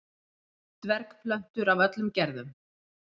Dvergplöntur af öllum gerðum.